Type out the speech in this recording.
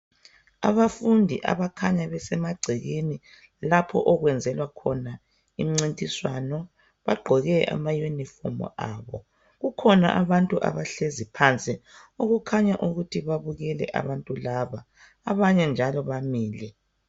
Abafundi abakhanya besemagcekeni lapho okwenzelwa khona imncintiswano. Bagqoke amayunifomu abo. Kukhona abantu abahlezi phansi okukhanya ukubabukele abantu labo, abanye njalo bamile.